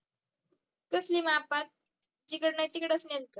कसली मापात जिकडे नाही तिकडेच नेलं होतं